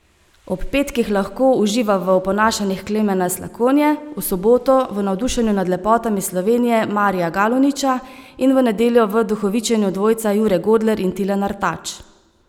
Ob petkih lahko uživa v oponašanjih Klemena Slakonje, v soboto v navdušenju nad lepotami Slovenije Marija Galuniča in v nedeljo v duhovičenju dvojca Jure Godler in Tilen Artač.